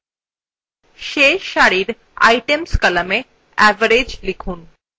শেষ সারির items কলামে average likhun